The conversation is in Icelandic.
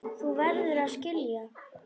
Þú verður að skilja.